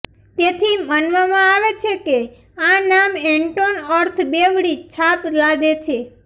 તેથી માનવામાં આવે છે કે આ નામ એન્ટોન અર્થ બેવડી છાપ લાદે છે